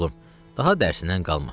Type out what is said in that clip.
Oğlum, daha dərsindən qalma.